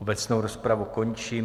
Obecnou rozpravu končím.